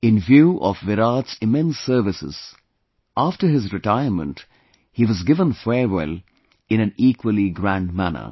In view of Virat's immense services, after his retirement he was given farewell in an equally grand manner